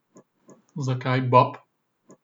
Zakaj Bob?